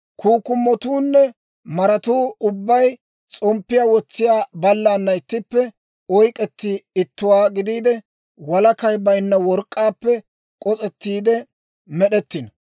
Kukkumatuunne maratuu ubbay s'omppiyaa wotsiyaa baalaana ittippe, oyk'k'etti ittuwaa gidiide, walakay baynna work'k'aappe k'os'ettiide med'ettino.